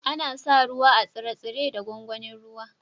Ana sa ruwa a tsire-tsire da gwangwanin ruwa.